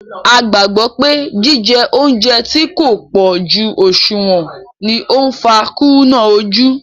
A gbàgbọ́ pé jije óúnjẹ tí kò pó jú ọ̀ṣùwọ̀n ni ó ń fa kúrúnà ojú